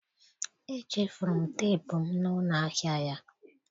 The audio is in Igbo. Echefuru m teepu m na ụlọ ahịa ya.